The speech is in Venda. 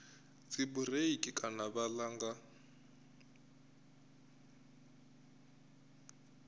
dzibureiḽi kana vha vhala nga